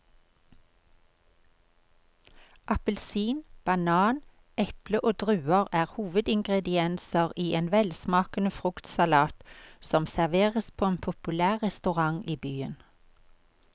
Appelsin, banan, eple og druer er hovedingredienser i en velsmakende fruktsalat som serveres på en populær restaurant i byen.